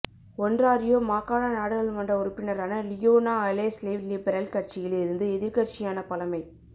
Ontario மாகாண நாடாளுமனற உறுப்பினரான லியோனா அலெஸ்லேவ் லிபரல் கட்சியில் இருந்து எதிர்க்கட்சியான பழமை